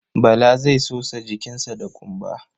Bala zai sosa jikinsa da ƙumba.